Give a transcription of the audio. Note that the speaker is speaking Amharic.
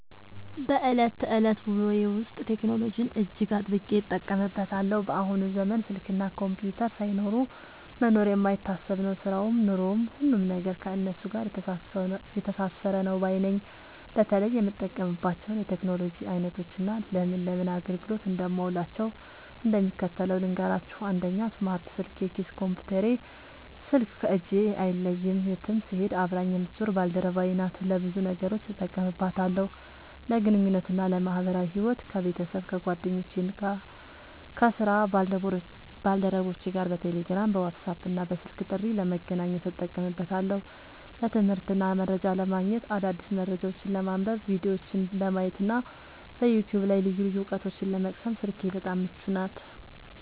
በዕለት ተዕለት ውሎዬ ውስጥ ቴክኖሎጂን እጅግ አጥብቄ እጠቀምበታለሁ። በአሁኑ ዘመን ስልክና ኮምፒውተር ሳይኖሩ መኖር የማይታሰብ ነው፤ ሥራውም ኑሮውም፣ ሁሉም ነገር ከእነሱ ጋር የተሳሰረ ነው ባይ ነኝ። በተለይ የምጠቀምባቸውን የቴክኖሎጂ ዓይነቶችና ለምን ለምን አገልግሎት እንደማውላቸው እንደሚከተለው ልንገራችሁ፦ 1. ስማርት ስልክ (የኪስ ኮምፒውተሬ) ስልክ ከእጄ አይለይም፤ የትም ስሄድ አብራኝ የምትዞር ባልደረባዬ ናት። ለብዙ ነገሮች እጠቀምባታለሁ፦ ለግንኙነትና ለማኅበራዊ ሕይወት፦ ከቤተሰብ፣ ከጓደኞቼና ከሥራ ባልደረቦቼ ጋር በቴሌግራም፣ በዋትስአፕና በስልክ ጥሪ ለመገናኘት እጠቀምበታለሁ። ለትምህርትና መረጃ ለማግኘት፦ አዳዲስ መረጃዎችን ለማንበብ፣ ቪዲዮዎችን ለማየትና በዩቲዩብ ላይ ልዩ ልዩ ዕውቀቶችን ለመቅሰም ስልኬ በጣም ምቹ ናት።